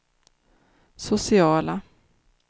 sociala